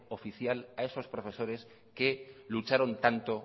oficial a esos profesores que lucharon tanto